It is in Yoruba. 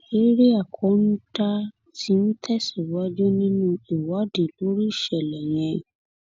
eèríà kọńdà tí ń tẹsíwájú nínú ìwádìí lórí ìṣẹlẹ yẹn